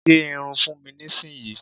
Gẹ́ irun fún mi nísìnyi!